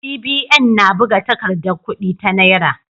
CBN na buga takardar kudi ta Naira.